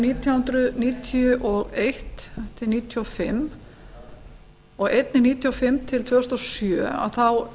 nítján hundruð níutíu og eitt til nítján hundruð níutíu og fimm og einnig nítján hundruð níutíu og fimm til tvö þúsund og sjö þá